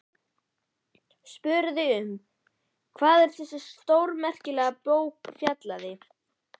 Spurði um hvað þessi stórmerkilega bók fjallaði.